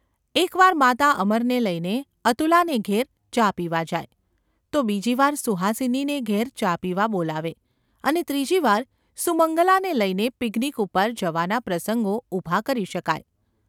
એક વાર માતા અમરને લઈને અતુલાને ઘેર ચા પીવા જાય, તો બીજી વાર સુહાસિનીને ઘેર ચા પીવા બોલાવે અને ત્રીજી વાર સુમંગલાને લઈને ‘પિકનિક ’ ઉપર જવાના પ્રસંગો ઊભા કરી શકાય.